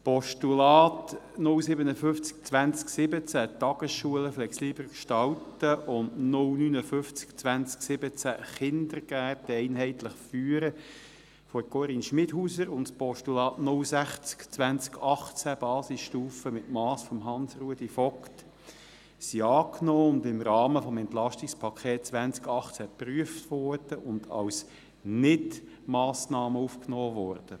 Die Postulate 057-2017, «Tagesschulen flexibler gestalten», und 059-2017, «Kindergärten einheitlich führen», von Grossrätin Schmidhauser sowie das Postulat 060-2018, «Basisstufe mit Mass», von Grossrat Vogt sind angenommen und im Rahmen des Entlastungspakets 2018 geprüft und nicht als Massnahmen aufgenommen worden.